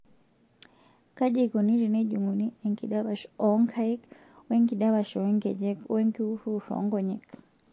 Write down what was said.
Kaji eikoni tenejung'uni enkidapash oonkaik oenkidapash oonkejek oenkiuriwur oonkonyek?